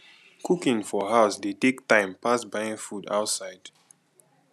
cooking for house dey take time pass buying food outside